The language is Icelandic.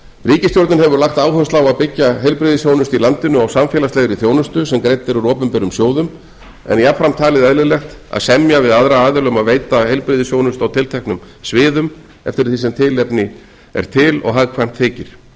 ríkisstjórnin hefur lagt áherslu á að byggja heilbrigðisþjónustu í landinu á samfélagslegri þjónustu sem greidd er úr opinberum sjóðum en jafnframt talið eðlilegt að semja við aðra aðila um að veita heilbrigðisþjónustu á tilteknum sviðum eftir því sem tilefni er til og hagkvæmt þykir